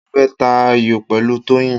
Mo fẹ́ ta ayò pẹ̀lú Toyin.